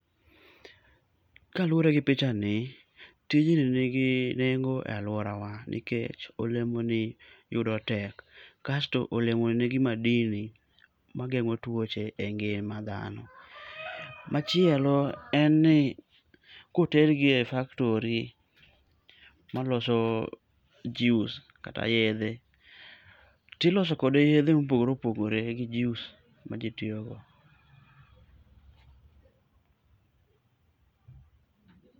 Kaluwore gi picha b ni, tijni ni gi nengo e aluorawa., nikech olemoni yudo tek kasto olemoni ni gi madini mageng'o tuoche e ngima dhano. Machielo en ni koter gi e b factory maloso juice kata yedhe, tiloso kode yedhe mopogore mopogore mag juice maji tiyogo..